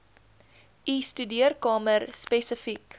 u studeerkamer spesifiek